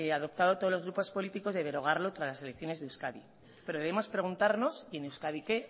adoptado todos los grupos políticos de derogarlo tras las elecciones de euskadi pero debemos preguntarnos en euskadi qué